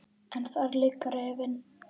En þar liggur efinn.